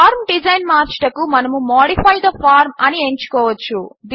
form design మార్చుటకు మనము modify the form అని ఎంచుకోవచ్చు